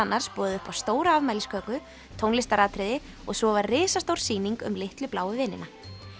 boðið upp á stóra afmælisköku tónlistaratriði og svo var risastór sýning um litlu bláu vinina